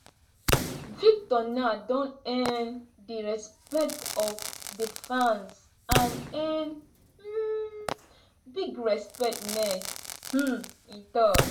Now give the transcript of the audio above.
“victor now don earn di respect of di fans and earn um big respect next um e tok.